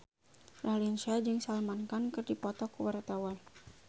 Raline Shah jeung Salman Khan keur dipoto ku wartawan